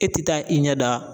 E ti taa i ɲɛ da